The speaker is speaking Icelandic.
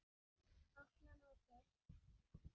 Opna mótið.